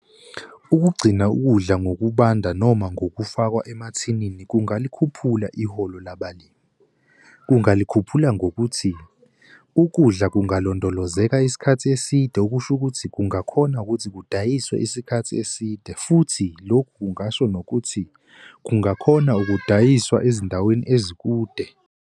Ukugcina ukudla ngokubanda noma ngokufakwa emathilini kungalikhuphula iholo labalimi. Kungalikhuphula ngokuthi ukudla kungalandolozeka isikhathi eside okusho ukuthi kungakhona ukuthi kudayiswa isikhathi eside futhi lokhu kungasho nokuthi kungakhona ukudayiswa ezindaweni ezikude.